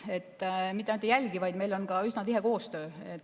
Ja me mitte ainult ei jälgi, vaid meil on ka üsna tihe koostöö.